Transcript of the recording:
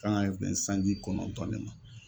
Kan ka bɛn sanji kɔnɔntɔn de ma.